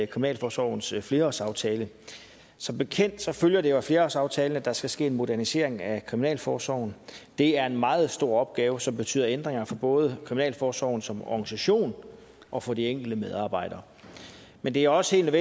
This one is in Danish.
kriminalforsorgens flerårsaftale som bekendt følger det af flerårsaftalen at der skal ske en modernisering af kriminalforsorgen det er en meget stor opgave som betyder ændringer for både kriminalforsorgen som organisation og for de enkelte medarbejdere men det er også helt